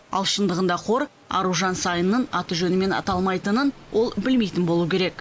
ал шындығында қор аружан саинның аты жөнімен аталмайтынын ол білмейтін болуы керек